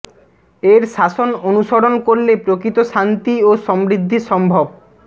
এর শাসন অনুসরন করলে প্রকৃত শান্তি ও সমৃদ্ধি সম্ভব